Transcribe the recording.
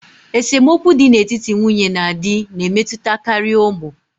Esemokwu dị n'etiti nwunye na di na-emetụtakarị ụmụ.